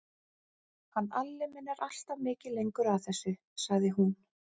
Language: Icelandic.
Hann Alli minn er alltaf mikið lengur að þessu, sagði hún.